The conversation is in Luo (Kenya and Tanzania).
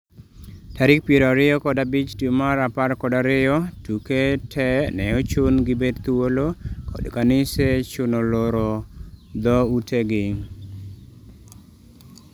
tarik piero ariyo kod abich dwe mar apar kod ariyo, duke te ne ochun gi bet thuolo, kod kanise chuno loro dho ute gi